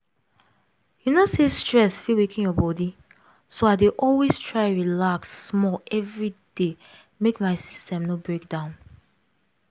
you know say stress fit weaken your body so i dey always try relax small every day make my system no break down